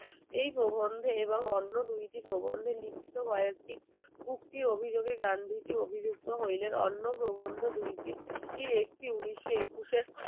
এই প্রবন্ধে এবং অন্য দুইটি প্রবন্ধে লিখিত কয়েকটি উক্তির অভিযোগে গান্ধীজি অভিযুক্ত হইলেন অন্য প্রবন্ধ দুই টির একটি উনিশশো একুশে